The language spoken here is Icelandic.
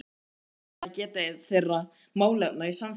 Ber auðvitað að geta þeirra málefna í samþykktunum.